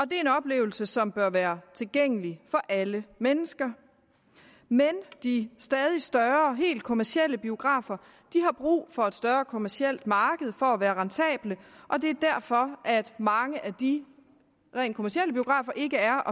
oplevelse som bør være tilgængelig for alle mennesker men de stadig større og helt kommercielle biografer har brug for et større kommercielt marked for at være rentable og det er derfor at mange af de rent kommercielle biografer ikke er